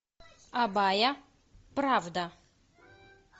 абая правда